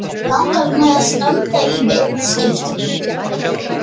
Langar mig að standa í viðskiptum?